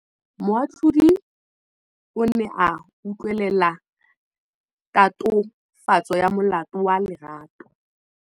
Moatlhodi o ne a utlwelela tatofatsô ya molato wa Lerato.